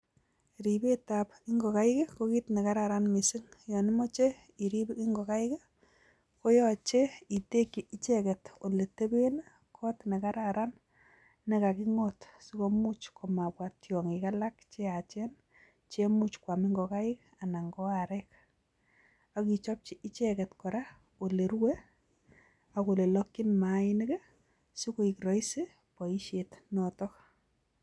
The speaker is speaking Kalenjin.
Ribet ab ingokaik ko kiit ne kararan mising, kitekchin kot ne kararan ke ka kingoot si mapa tiongik che yaachen koam ingokaik anan ko arek, kora ichepchi ole rue ako ole lokchin maainik sikoek (rahisi) boishonotok